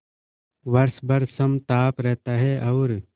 वर्ष भर समताप रहता है और